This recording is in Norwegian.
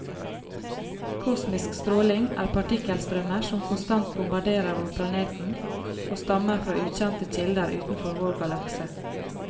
Kosmisk stråling er partikkelstrømmer som konstant bombarderer vår planeten og stammer fra ukjente kilder utenfor vår galakse.